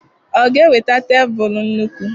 Ọ ga-eweta tebụlụ nnukwu?